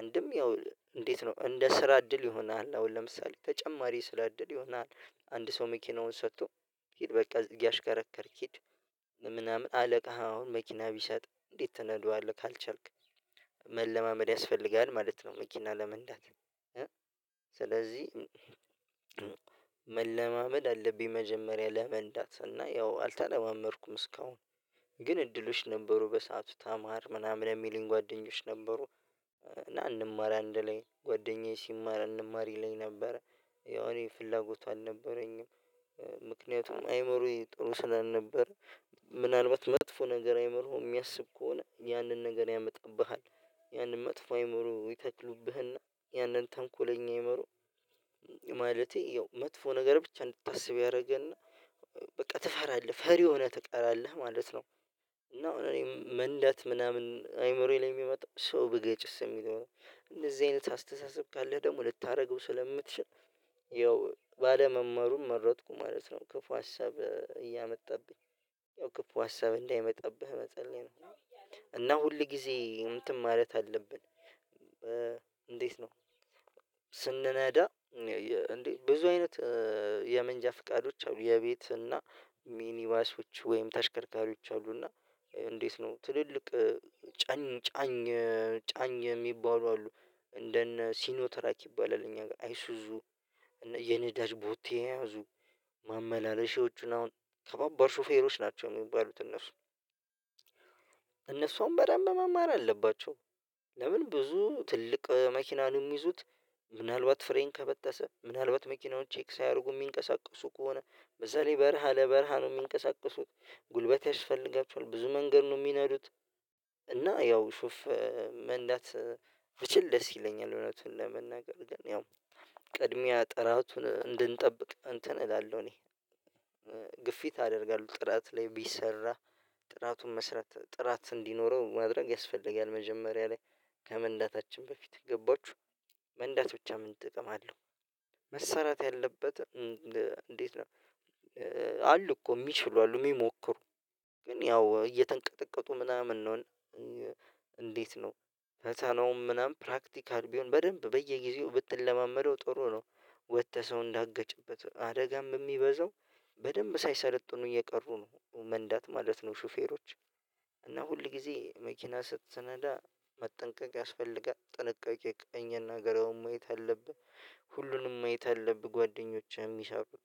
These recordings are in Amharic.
አንድም ያው እንዴት ነው እንደ ስራ እድል ይሆናል አሁን ለምሳሌ ተጨማሪ ስራ እድል ይሆናል። አንድ ሰው መኪናውን ሰጥቶ ሂድ በቃ እያሽከረከርክ ሂድ ምናምን አለቃህ አሁን መኪና ቢሰጥ እንዴት ተነድዋለህ ካልቻልክ መለማመድ ያስፈልጋል ማለት ነው መኪና ለመንዳት። ስለዚህ መለማመድ አለብኝ መጀመሪያ ለመንዳት እና ያው አልተለማመድኩም እስካሁን። ግን እድሎች ነበሩ በሰአቱ ተማር ምናምን የሚልኝ ጓደኞች ነበሩ እና እንማራ አንድላይ ጓደኛዬ ሲማራ እንማር ይለኝ ነበረ ያው እኔ ፍላጎቱ አልነበረኝም። ምክንያቱም አእምሮየ ጥሩ ስላልነበረ ምናልባት መጥፎ ነገር አእምሮየ የሚያስብ ከሆነ ያንን ነገር ያመጣብሃል ያንን መጥፎ አእምሮ ይተክሉብህና ያንን ተንኮለኛ አእምሮ ማለቴ ያው መጥፎ ነገር ብቻ እንድታስብ ያደርግህና በቃ ትፈራለህ ፈሪ ሆነህ ትቀራለህ ማለት ነው። እና እኔ መንዳት ምናምን አይምሮዬ ላይ የሚመጣው ሰው ብገጭስ የሚለው እንደዚህ አይነት አስተሳሰብ ካለ ደግሞ ልታደርገው ስለምትችል ያው ባለመማሩን መረጥኩ ማለት ነው። ክፉ ሀሳብ እያመጣብኝ ያው ክፉ ሀሳብ እንዳይመጣብህ መፀለይ ነው ሁል ጊዜ እንትን ማለት አለብን። እንዴት ነው? ስንነዳ እንዴ ብዙ አይነት የመንጃ ፍቃዶች አሉ የቤት እና ሚኒባሶች ወይም ተሽከርካሪዎች አሉ። እና እንዴት ነው ትልልቅ ጫኝ ጫኝ ጫኝ የሚባሉ አሉ። እንደነ ሲኖትራክ ይባላል እኛ ሀገር አይሱዙ የነዳጅ ቦቴ የያዙ ማመላለሻዎቹን አሁን ከበባድ ሹፌሮች ናቸው የሚባሉት እነሱ። እነሱ አሁን በደንብ መማር አለባቸው። ለምን ብዙ ትልቅ መኪና ነው የሚይዙት? ምናልባት ፍሬን ከበጠሰ ምናልባት መኪናው ቼክ ሳያደርጉ የሚንቀሳቀሱ ከሆነ በዛ ላይ በረሃ ለበረሃ ነው የሚንቀሳቀሱት ጉልበት ያስፈልጋቸዋል ብዙ መንገድ ነው የሚነዱት። እና ያው ሹፍ መንዳት ብችል ደስ ይለኛል እውነትን ለመናገር ግን ያው ቅድሚያ ጥራቱን እንድንጠብቅ እንትን እላለሁ እኔ። ግፊት አደርጋለሁ ጥራት ላይ ቢሰራ ጥራቱን መስራት ጥራት እንዲኖረው ማድረግ ያስፈልጋል መጀመሪያ ላይ ከመንዳታችን በፊት ገባችሁ መንዳት ብቻ ምን ጥቅም አለው? መሰራት ያለበት እንዴት ነው? አሉ እኮ የሚችሉ አሉ የሚሞክሩ ግን ያው እየተንቀጠቀጡ ምናምን ነው። እንዴት ነው? ፈተናውን ምናምን ፕራክቲካል ቢሆን በደንብ በየጊዜው ብትለማመደው ጥሩ ነው። ወጥተህ ሰው እንዳገጭበት አደጋም በሚበዛው በደንብ ሳይሰለጥኑ እየቀሩ ነው መንዳት ማለት ነው። ሹፌሮች እና ሁል ጊዜ መኪና ስትነዳ መጠንቀቅ ያስፈልጋል ጥንቃቄ ቀኝ ግራውን ማየት አለብህ ሁሉንም ማየት አለብህ ጓደኞቼ የሚሰሩት።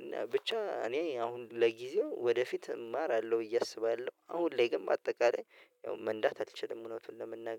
እና ብቻ እኔ አሁን ለጊዜው ወደፊት እማራለሁ ብዬ አስባለሁ አሁን ላይ ግን በአጠቃላይ ያው መንዳት አልችልም እውነቱን ለመናገር